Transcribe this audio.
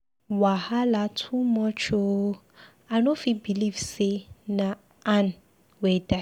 Wahala too much ooo! I no fit believe say na Ann wey die.